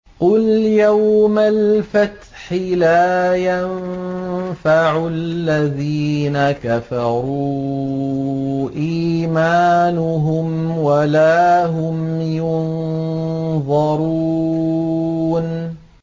قُلْ يَوْمَ الْفَتْحِ لَا يَنفَعُ الَّذِينَ كَفَرُوا إِيمَانُهُمْ وَلَا هُمْ يُنظَرُونَ